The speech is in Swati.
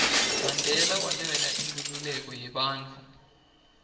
mandela walwela inkhululeko yebantfu